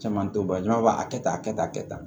Caman t'o ban jama b'a kɛ tan a kɛ tan a kɛ tan